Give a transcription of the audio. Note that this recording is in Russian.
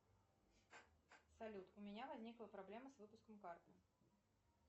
салют у меня возникла проблема с выпуском карты